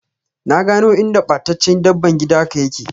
Na gano inda battaccce dabban gida ka yake.